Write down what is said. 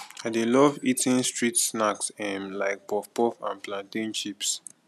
i dey love eating street snacks um like puffpuff and plantain chips